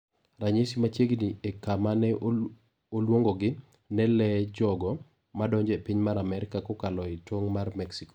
Ranyisi machiegni e kama ne olungogi ne "le" jogo madonjo epiny mar Amerka kokalo etong mar Mexico.